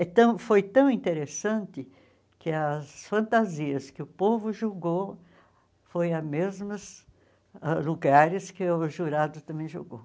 Então foi tão interessante que as fantasias que o povo julgou foi a mesmas ãh lugares que o jurado também julgou.